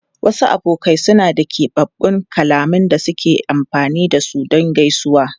Wasu abokai suna da keɓaɓɓun kalmomin da suke amfani da su don gaisuwa.